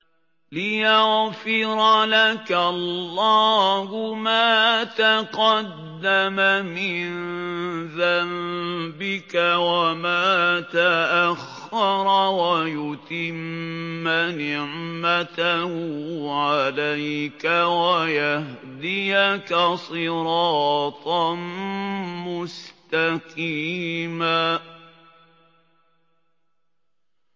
لِّيَغْفِرَ لَكَ اللَّهُ مَا تَقَدَّمَ مِن ذَنبِكَ وَمَا تَأَخَّرَ وَيُتِمَّ نِعْمَتَهُ عَلَيْكَ وَيَهْدِيَكَ صِرَاطًا مُّسْتَقِيمًا